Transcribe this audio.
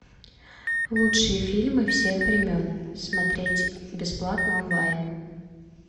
лучшие фильмы всех времен смотреть бесплатно онлайн